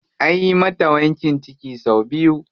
Anyi mata wankin ciki sau biyu.